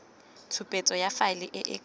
tshupetso ya faele e ka